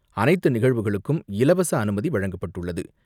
அனைத்து நிகழ்வுகளுக்கும் இலவச அனுமதி வழங்கப்பட்டுள்ளது.